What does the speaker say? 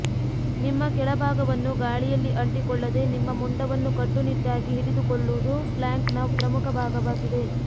ನಿಮ್ಮ ಕೆಳಭಾಗವನ್ನು ಗಾಳಿಯಲ್ಲಿ ಅಂಟಿಕೊಳ್ಳದೆ ನಿಮ್ಮ ಮುಂಡವನ್ನು ಕಟ್ಟುನಿಟ್ಟಾಗಿ ಹಿಡಿದುಕೊಳ್ಳುವುದು ಪ್ಲ್ಯಾಂಕ್ನ ಪ್ರಮುಖ ಭಾಗವಾಗಿದೆ